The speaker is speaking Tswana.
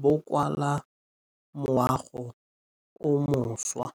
bo kwa moagong o mošwa.